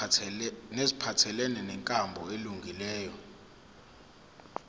neziphathelene nenkambo elungileyo